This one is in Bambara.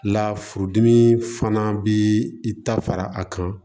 La furudimi fana bi ta fara a kan